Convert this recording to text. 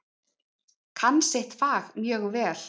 Kann sitt fag mjög vel.